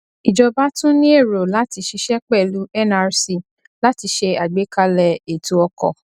ìjọba tún ní èrò láti ṣiṣẹ pẹlú nrc láti ṣé àgbékalẹ ètò ọkọ